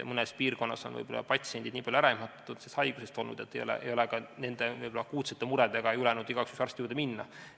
Mõnes piirkonnas on patsiendid olnud sellest haigusest nii ära ehmatatud, et nad ei ole julgenud ka akuutsete muredega arsti juurde minna.